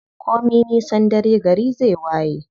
Komi nisan dare gari zai waye.